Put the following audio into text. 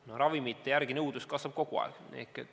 Nõudlus ravimite järele kasvab kogu aeg.